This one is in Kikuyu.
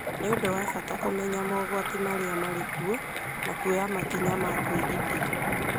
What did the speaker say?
Nĩ ũndũ wa bata kũmenya mogwati marĩa marĩ kuo na kuoya makinya ma kwĩgitĩra.